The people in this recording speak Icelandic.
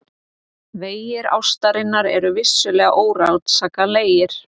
Vegir ástarinnar eru vissulega órannsakanlegir.